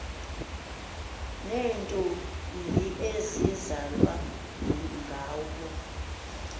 neentombi ezizalwa ngabo